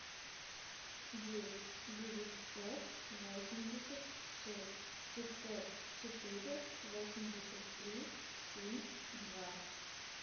девять девятьсот восемьдесят шесть пятьсот четыре восемьдесят три семь два